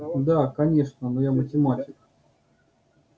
да конечно но я математик